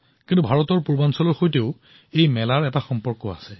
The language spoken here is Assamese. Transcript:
কিন্তু ভাৰতৰ পূব প্ৰান্তৰ সৈতেও ইয়াৰ সম্পৰ্ক আছে